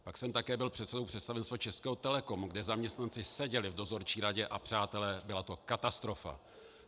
Pak jsem také byl předsedou představenstva Českého Telecomu, kde zaměstnanci seděli v dozorčí radě, a přátelé, byla to katastrofa.